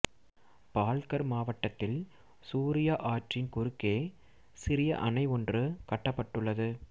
பால்கர் மாவட்டத்தில் சூரியா ஆற்றின் குறுக்கே சிறிய அணை ஒன்று கட்டப்பட்டுள்ளது